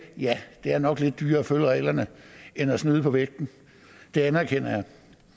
ja det er nok lidt dyrere at følge reglerne end at snyde på vægten det anerkender jeg